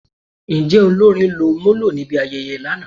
Njẹ olórin lọ molo nibi ayẹyẹ lana?